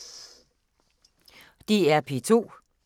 DR P2